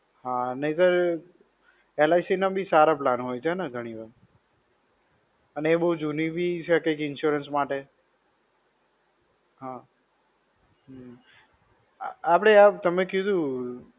હા નહિ તર, LIC ના બી સારા plan હોય છે ને ઘણી વાર? અને એ બો જૂની બી છે કંઈક insurance માટે. હા. હમ્મ. આપણે આ તમે કીધું.